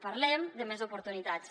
parlem de més oportunitats